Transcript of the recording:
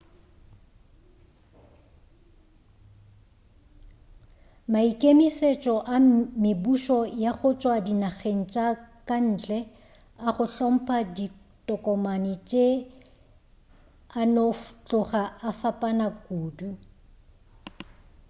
maikemešetšo a mebušo ya go tšwa dinageng tša ka ntle a go hlompha ditokomane tše a no tloga a fapana kudu